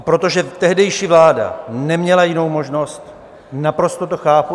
A protože tehdejší vláda neměla jinou možnost, naprosto to chápu.